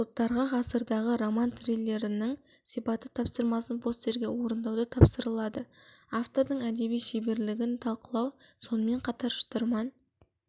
топтарға ғасырдағы роман триллерінің сипаты тапсырмасын постерге орындауды тапсырылады автордың әдеби шеберлігін талқылау сонымен қатар шытырман